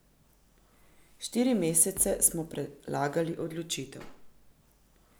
Štiri mesece smo prelagali odločitev.